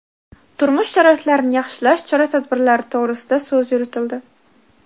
turmush sharoitlarini yaxshilash chora-tadbirlari to‘g‘risida so‘z yuritildi.